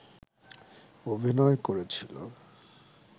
অভিনয় করেছিল